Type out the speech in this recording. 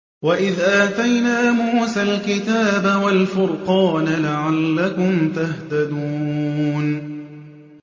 وَإِذْ آتَيْنَا مُوسَى الْكِتَابَ وَالْفُرْقَانَ لَعَلَّكُمْ تَهْتَدُونَ